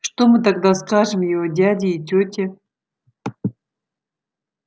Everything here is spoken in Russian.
что мы тогда скажем его дяде и тёте